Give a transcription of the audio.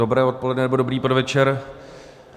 Dobré odpoledne, nebo dobrý podvečer.